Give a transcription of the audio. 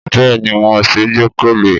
Bẹ́ẹ̀ni wọn ṣeé gbẹ́kẹ̀lé